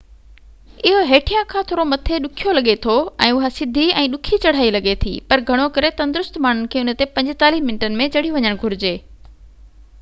اهو هيٺيان کان ٿورو ڏکيو لڳي ٿو ۽ اها سڌي ۽ ڏکي چڙهايئ لڳي ٿي پر گهڻو ڪري تندرست ماڻهن کي ان تي 45 منٽن ۾ چڙهي وڃڻ گهرجي